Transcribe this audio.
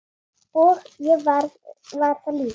Og ég var það líka.